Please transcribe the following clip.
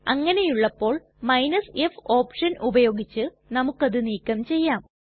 അങ്ങനെയുള്ളപ്പോൾ f option ഉപയോഗിച്ച് നമുക്കത് നീക്കം ചെയ്യാം